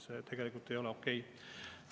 See tegelikult ei ole okei.